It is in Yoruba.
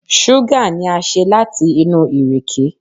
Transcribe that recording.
Ṣúgà ni a ṣe láti inú ìrèké.